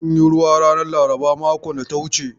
An yi ruwa ranar laraban makon da ta wuce.